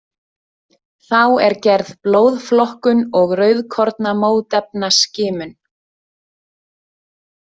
Þá er gerð blóðflokkun og rauðkornamótefnaskimum.